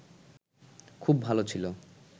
খুব ভাব ছিল